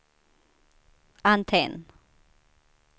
antenn